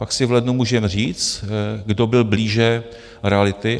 Pak si v lednu můžeme říct, kdo byl blíže realitě.